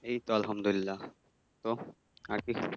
এইতো আলহামদুলিল্লাহ, তো আর কি?